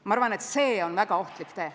Ma arvan, et see on väga ohtlik tee.